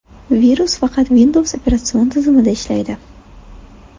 Virus faqat Windows operatsion tizimida ishlaydi.